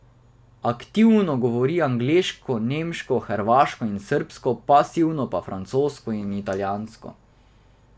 Aktivno govori angleško, nemško, hrvaško in srbsko, pasivno pa francosko in italijansko.